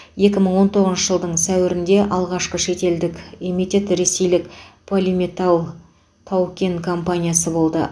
екі мың он тоғызыншы жылдың сәуірінде алғшақы шетелдік эмитент ресейлік полиметалл тау кен компаниясы болды